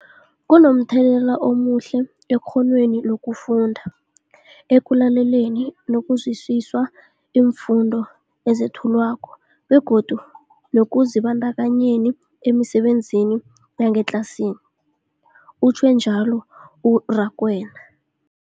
Kunomthelela omuhle ekghonweni lokufunda, ekulaleleni nokuzwisiswa iimfundo ezethulwako begodu nekuzibandakanyeni emisebenzini yangetlasini, utjhwe njalo u-Rakwena.